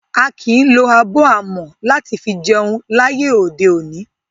A kìí lo abọ́ amọ̀ láti fi jẹun láyé òde òní.